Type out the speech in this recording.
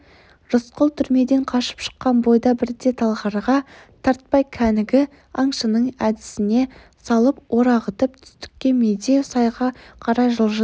рысқұл түрмеден қашып шыққан бойда бірден талғарға тартпай кәнігі аңшының әдісіне салып орағытып түстікке медеу сайға қарай жылжыды